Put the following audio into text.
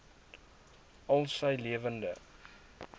al sy lewende